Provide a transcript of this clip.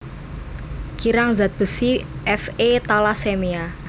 Kirang zat besi Fe talasemia